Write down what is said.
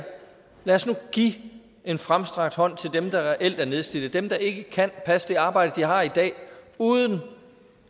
lad os nu give en fremstrakt hånd til dem der reelt er nedslidte dem der ikke kan passe det arbejde de har i dag uden